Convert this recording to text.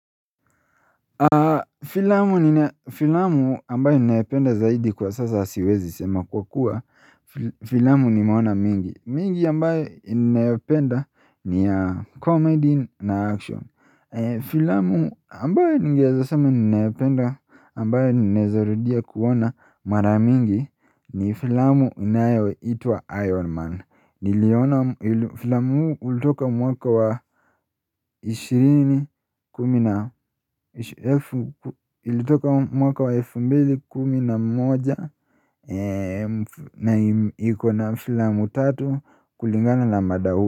Filamu nina filamu ambayo ninayopenda zaidi kwa sasa siwezi sema kwa kuwa filamu nimeona mingi mingi ambayo ninayopenda ni comedy na action Filamu ambayo ningeweza sema ninayopenda ambayo ninaeza rudia kuona mara mingi ni filamu inayo itwa iron man Niliona filamu ulitoka mwaka wa 20 kumi na Ilitoka mwaka wa elfu mbili kumi na moja na ikona filamu 3 kulingana na mada huu.